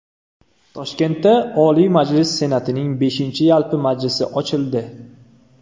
Toshkentda Oliy Majlis Senatining beshinchi yalpi majlisi ochildi.